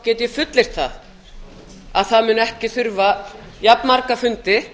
get ég fullyrt að það mun ekki þurfa jafnmarga fundi